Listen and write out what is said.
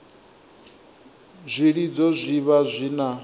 zwilidzo zwi vha zwi na